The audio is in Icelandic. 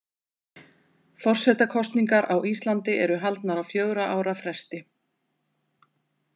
Forsetakosningar á Íslandi eru haldnar á fjögurra ára fresti.